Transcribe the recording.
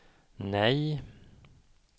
nej